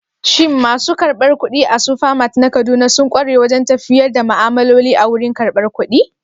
Shin masu karbar kuɗi a Supermart na Kaduna sun ƙware wajen tafiyar da ma'amaloli a wurin karbar kuɗi?